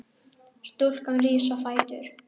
Stúlkan rís á fætur.